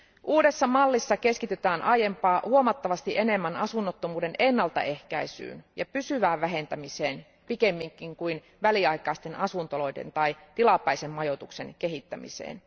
Uudessa mallissa keskitytään aiempaa huomattavasti enemmän asunnottomuuden ennaltaehkäisyyn ja pysyvään vähentämiseen pikemminkin kuin väliaikaisten asuntoloiden tai tilapäisen majoituksen kehittämiseen.